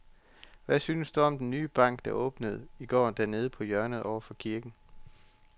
Hvad synes du om den nye bank, der åbnede i går dernede på hjørnet over for kirken?